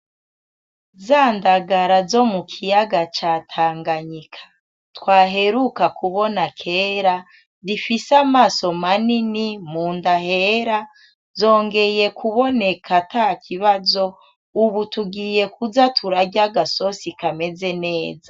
Zandagara zo mukiyaga ca tanganyika twaheruka kubona kera zifise amaso manini munda hera zongeye kuboneka atakibazo ubu tugiye kuza turarya agasosi kameze neza